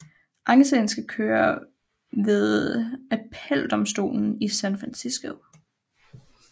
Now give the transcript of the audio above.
Ankesagen skal køre ved appeldomstolen i San Francisco